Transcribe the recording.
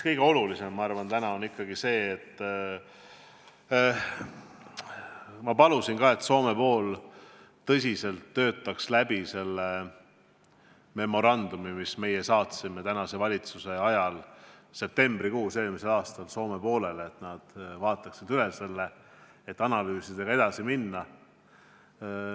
Kõige olulisem, ma arvan, on täna ikkagi see – ma palusin ka, et Soome pool töötaks selle memorandumi, mis me tänase valitsuse ajal eelmise aasta septembrikuus Soomele saatsime, tõsiselt läbi ja vaataks selle üle –, et saaksime analüüsidega edasi minna.